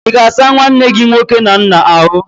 Ị ga-asa nwanne gi nwoke na nna ahụ?